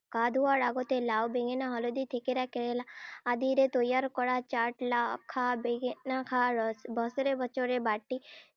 গা ধুওৱাৰ আগতে লাও, বেঙেনা, হালধী, থেকেৰা, কেৰেলা আদিৰে তৈয়াৰ কৰা চাট লাও খা বেঙেনা খা, বছৰে বছৰে বাটি